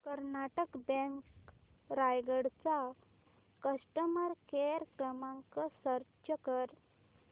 Karnataka bank Raigad चा customer care क्रमांक search कर